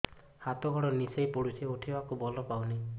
ହାତ ଗୋଡ ନିସେଇ ପଡୁଛି ଉଠିବାକୁ ବଳ ପାଉନି